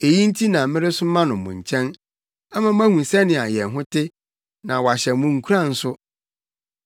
Eyi nti na meresoma no mo nkyɛn, ama moahu sɛnea yɛn ho te, na wahyɛ mo nkuran nso.